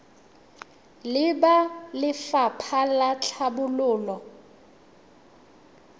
le ba lefapha la tlhabololo